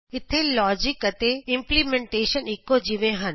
ਇਥੇ ਲੋਜਿਕ ਅਤੇ ਇੰਪਲੀਮੇਂਟੇਸ਼ਨ ਇਕੋ ਜਿਹੇ ਹਨ